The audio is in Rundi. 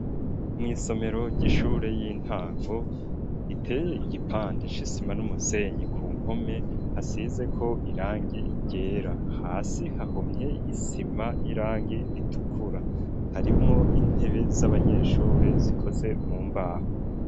Mw'isomero ry'ishure y'intango iteye igipande c'isima n'umusenyi ku mpome hasizeko irangi ryera ,hasi hahomye isima y'irangi ritukura, harimwo intebe z'abanyeshure zikoze mu mbaho.